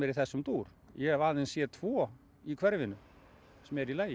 í þessum dúr ég hef aðeins séð tvo í hverfinu sem eru í lagi